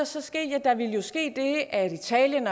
så ske ja der ville jo ske det at italien